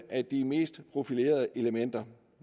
af de mest profilerede elementer